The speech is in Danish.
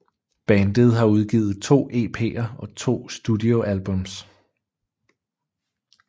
Bandet har udgivet to EPer og to studio albums